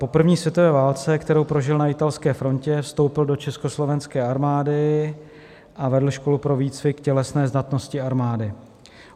Po první světové válce, kterou prožil na italské frontě, vstoupil do československé armády a vedl školu pro výcvik tělesné zdatnosti armády.